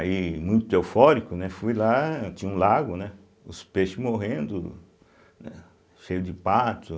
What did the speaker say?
Aí, muito eufórico, né, fui lá, tinha um lago, né, os peixes morrendo, né, cheio de patos.